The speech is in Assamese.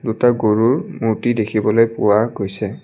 দুটা গৰুৰ মূৰ্তি দেখিবলৈ পোৱা গৈছে।